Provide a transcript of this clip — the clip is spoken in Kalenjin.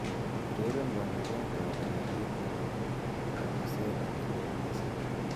ureren panganet ab ureryet nepo kabasele nelel missing